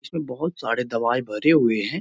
इसमें बहोत सारे दवाई भरे हुए हैं।